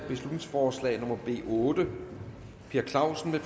beslutningsforslag nummer b otte per clausen